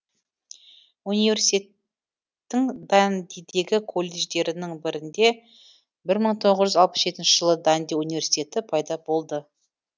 университеттің дандидегі колледждерінің бірінде бір мың тоғыз жүз алпыс жетінші жылы данди университеті пайда болды